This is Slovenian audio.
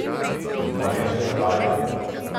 Pa veš, zakaj?